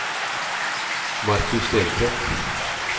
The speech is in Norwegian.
Marcus Stenseth